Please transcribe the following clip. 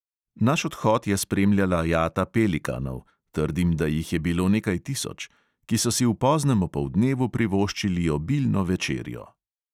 Naš odhod je spremljala jata pelikanov (trdim, da jih je bilo nekaj tisoč), ki so si v poznem opoldnevu privoščili obilno večerjo.